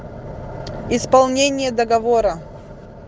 исполнение договора